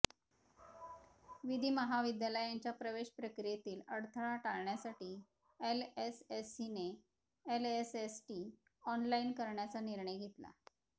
विधी महाविद्यालयांच्या प्रवेश प्रक्रियेतील अडथळा टाळण्यासाठी एलएसएसीने एलएसएटी ऑनलाइन करण्याचा निर्णय घेतला